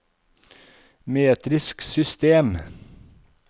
metrisk system